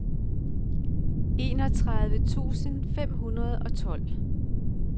enogtredive tusind fem hundrede og tolv